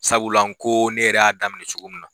Sabula nko ne yɛrɛ y'a daminɛ cogo min na.